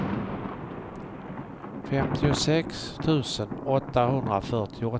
femtiosex tusen åttahundrafyrtioåtta